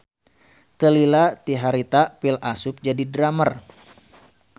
Teu lila ti harita Phil asup jadi drummer.